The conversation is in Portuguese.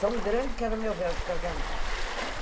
Tão grande que era o meu véu de casamento.